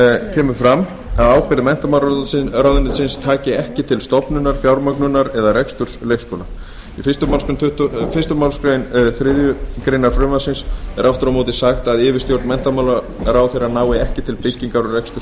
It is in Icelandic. kemur fram að ábyrgð menntamálaráðuneytis taki ekki til stofnunar fjármögnunar eða reksturs leikskóla í fyrstu málsgrein þriðju greinar frumvarpsins er aftur á móti sagt að yfirstjórn menntamálaráðherra nái ekki til byggingar og reksturs